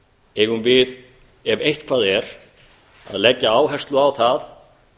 eigum við ef eitthvað er að leggja áherslu á það